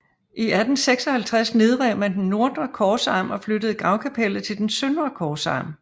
I 1856 nedrev man den nordre korsarm og flyttede gravkapellet til den søndre korsarm